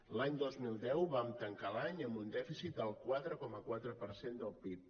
l’any dos mil deu vam tancar l’any amb un dèficit del quatre coma quatre per cent del pib